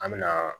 An me na